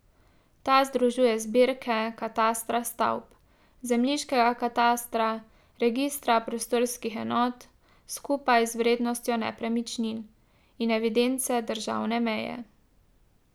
Ta združuje zbirke katastra stavb, zemljiškega katastra, registra prostorskih enot, skupaj z vrednostjo nepremičnin, in evidence državne meje.